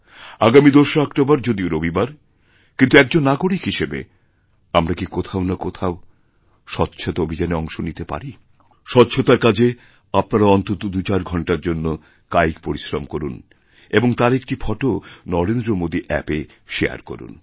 আগামী ২রা অক্টোবর যদিও রবিবার কিন্তুএকজন নাগরিক হিসেবে আমরা কী কোথাও না কোথাও স্বচ্ছতা অভিযানে অংশ নিতে পারিস্বচ্ছতার কাজে আপনারা অন্তত দুচার ঘণ্টার জন্য কায়িক পরিশ্রম করুন এবং তার একটিফোটো নরেন্দ্র মোদী অ্যাপএ শেয়ার করুন